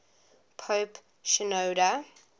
pope shenouda